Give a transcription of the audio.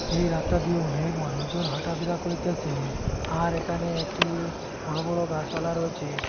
এই রাস্তা দিয়ে অনেক মানুষজন হাঁটাফেরা করিতেসে আর এখানে একটি বড় বড় গাসপালা রয়েছে।